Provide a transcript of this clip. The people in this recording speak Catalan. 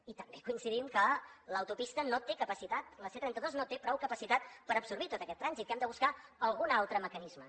i també coincidim que l’au topista no té capacitat la c trenta dos no té prou capacitat per absorbir tot aquest trànsit que hem de buscar algun altre mecanisme